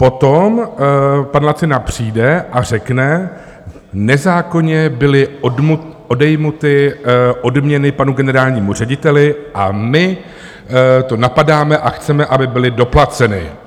Potom pan Lacina přijde a řekne: nezákonně byly odňaty odměny panu generálnímu řediteli a my to napadáme a chceme, aby byly doplaceny.